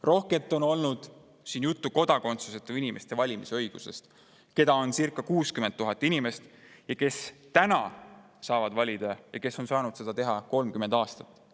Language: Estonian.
Rohkelt on siin olnud juttu valimisõigusest kodakondsuseta inimeste puhul, keda on circa 60 000 ja kes praegu saavad valida ning kes on saanud seda teha 30 aastat.